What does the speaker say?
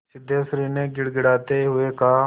सिद्धेश्वरी ने गिड़गिड़ाते हुए कहा